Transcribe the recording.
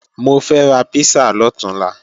Mo fẹ́ ra písà lọ̀túnla